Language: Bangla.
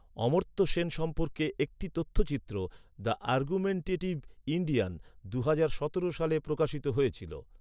অমর্ত্য সেন সম্পর্কে একটি তথ্যচিত্র, ‘দ্য আর্গুমেন্টেটিভ ইন্ডিয়ান’, দুহাজার সতেরো সালে প্রকাশিত হয়েছিল।